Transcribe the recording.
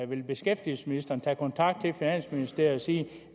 vil beskæftigelsesministeren tage kontakt til finansministeriet og sige